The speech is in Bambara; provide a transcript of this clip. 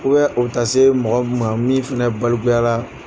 U bɛ u taa se mɔgɔ ma min fana balikuyara